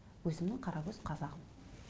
өзімнің қаракөз қазағым